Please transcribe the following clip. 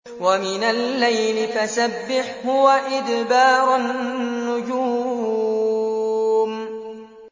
وَمِنَ اللَّيْلِ فَسَبِّحْهُ وَإِدْبَارَ النُّجُومِ